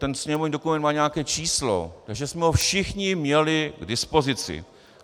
Ten sněmovní dokument má nějaké číslo, takže jsme ho všichni měli k dispozici.